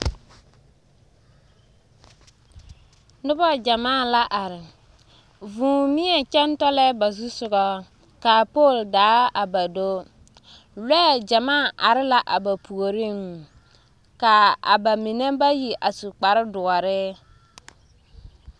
Noba gyɛmaa la are, vūū neɛ kyɛŋ tɔlɛɛ ba zu sogɔ ka poole daa a ba do, lɔɛ gyɛmaa are la a ba puoriŋ ka bamine bayi su kpare doɔre.